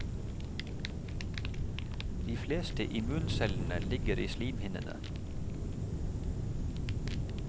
De fleste immuncellene ligger i slimhinnene.